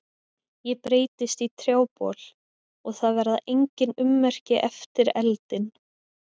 Ég breytist í trjábol og það verða engin ummerki eftir eldinn.